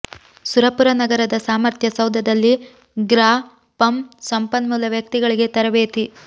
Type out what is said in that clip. ಸುರಪುರ ನಗರದ ಸಾಮರ್ಥ್ಯ ಸೌಧದಲ್ಲಿ ಗ್ರಾ ಪಂ ಸಂಪನ್ಮೂಲ ವ್ಯಕ್ತಿಗಳಿಗೆ ತರಬೇತಿ